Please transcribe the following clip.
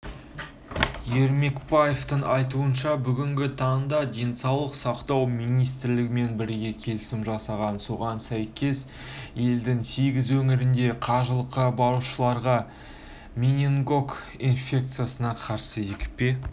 ермекбаевтың айтуынша бүгінгі таңда денсаулық сақтау министрлігімен бірге келісім жасалған соған сәйкес елдің сегіз өңірінде қажылыққа барушыларға менингокок инфекциясына қарсы екпе